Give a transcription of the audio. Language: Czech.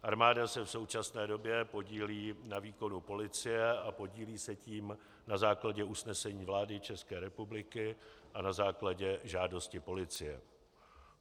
Armáda se v současné době podílí na výkonu policie a podílí se tím na základě usnesení vlády České republiky a na základě žádosti policie.